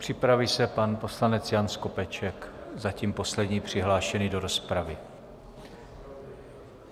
Připraví se pan poslanec Jan Skopeček, zatím poslední přihlášený do rozpravy.